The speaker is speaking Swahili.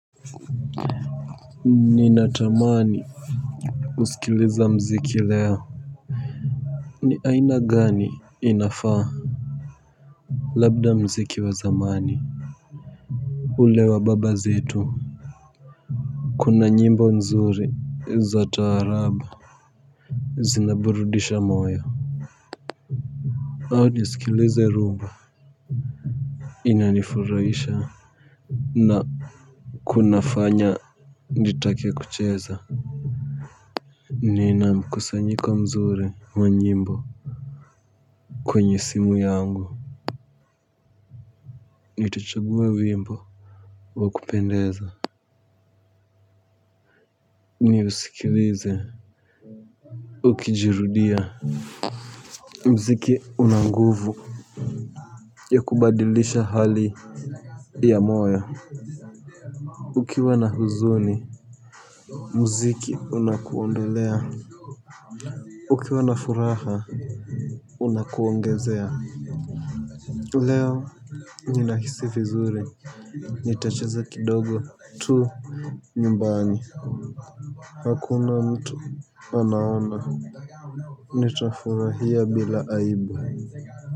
Ninatamani kusikiliza muziki leo. Ni aina gani inafaa. Labda muziki wa zamani. Ule wa baba zetu. Kuna nyimbo nzuri za taarabu. Zinaburudisha moya au nisikilize rumba. Inanifurahisha na kunafanya nitake kucheza. Nina mkusanyiko mzuri wa nyimbo. Kwenye simu yangu, nitachagua wimbo wa kupendeza niusikilize ukijirudia muziki una nguvu ya kubadilisha hali ya moyo ukiwa na huzuni muziki unakuondolea ukiwa na furaha unakuongezea leo ninahisi vizuri nitacheza kidogo tu nyumbani hakuna mtu anaona nitafurahia bila aibu kwa hivyo.